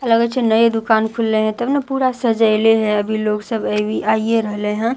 आ लगए छे नए दुकान खुलले है तब ना पूरा सजयले है अभी लोग सब आईए रहले है--